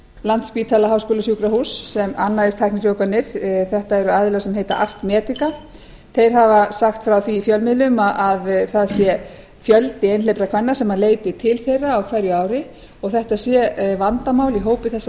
landspítala háskólasjúkrahús sem annaðist tæknifrjóvganir þetta eru aðilar sem heita art medica þeir hafa sagt frá því í fjölmiðlum að það sé fjöldi einhleypra kvenna sem leiti til þeirra á hverju ári og þetta sé vandamál í hópi þeirra